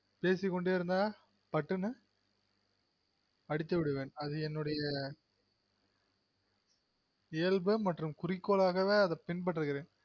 பேசிகொண்டெ இருந்தா பட்டுன்னு அடித்துவிடுவேன் அது என்னுடைய இயல்பு மற்றும் குரிக்கோளாகவே அத பின்பற்றுகிறென்